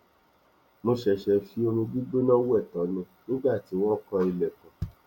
mo ṣẹṣẹ fi omi gbígbóná wẹ tán ni nígbà tí wọn kan ilèkùn